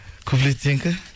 куплет сенікі